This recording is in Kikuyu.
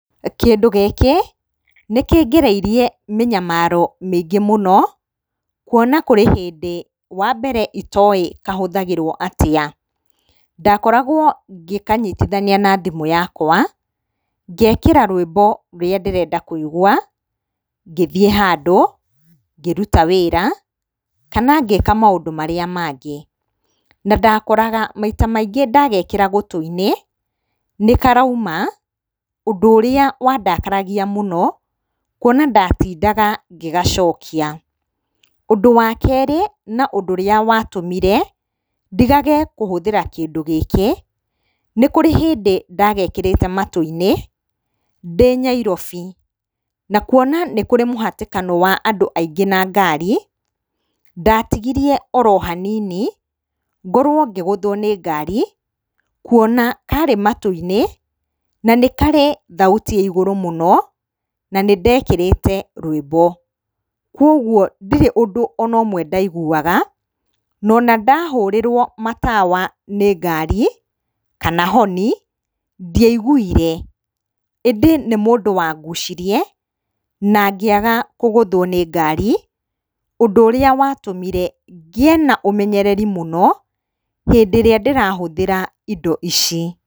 Kĩndũ gĩkĩ nĩkĩngereirie mĩnyamaro mĩingĩ mũno kuona kũrĩ hĩndĩ wambere itoĩ kahũthagirwo atĩa. Ndakoragwo ngĩkanyitithania na thimũ yakwa ngekĩra rwĩmbo rũrĩa ndĩrenda kũigwa ngĩthiĩ handũ, ngĩruta wĩra kana ngĩka maũndũ marĩa mangĩ. Na ndakoraga maita maingĩ ndagekĩra gũtũ-inĩ nĩkarauma ũndũ ũrĩa wandakaragia mũno kuona ndatindaga ngĩgacokia. Ũndũ wa kerĩ na ũndũ ũrĩa watũmire ndigage kũhũthĩra kĩndũ gĩkĩ, nĩkũrĩ hĩndĩ ndagekĩrĩte matũ-inĩ ndĩ Nyairobi, na kuona nĩ kũrĩ mũhatĩkano wa andũ aingĩ na ngari ndatigirie oro hanini ngorwo ngĩgũthwo nĩ ngari, kuona karĩ matũ-inĩ na nĩ karĩ thauti ĩrĩ igũrũ mũno na nĩndekĩrĩte rwĩmbo. Koguo ndirĩ na ũndũ ona ũmwe ndaiguaga na ona ndahũrĩrwo matawa nĩ ngari kana honi ndiaiguire. ĩndĩ nĩ mũndũ wangucirie na ngĩaga kũgũthwo nĩ ngari, ũndũ ũrĩa watũmire ngĩe na ũmenyereri mũno hĩndĩ ĩrĩa ndĩrahũthĩra indo ici.